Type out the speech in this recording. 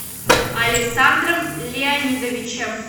александром леонидовичем